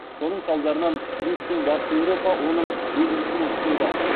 соның салдарынан русь пен батыс еуропа оның езгісінен құтылды